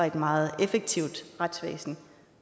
et meget effektivt retsvæsen